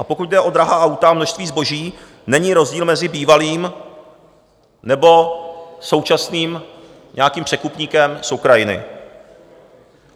A pokud jde o drahá auta a množství zboží, není rozdíl mezi bývalým nebo současným nějakým překupníkem z Ukrajiny.